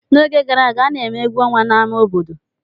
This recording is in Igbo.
N'oge gara aga, a na-eme egwu ọnwa n'ámá obodo.